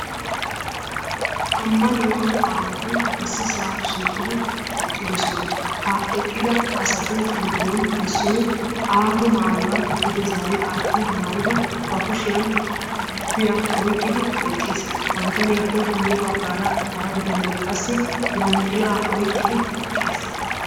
ammanuwa aawati issisaa shiiqidi eqqidosona. ha eqqida astu giddon issoy aato maayuwa duge zaari aatti maayidi ba kushiyan guufiya oyiqqidi eqqis. ha bitaniyaappe gyye baggaara hara bitanee qassi yanxilaa oyiqqidi eqqis.